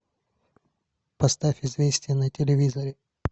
поставь известия на телевизоре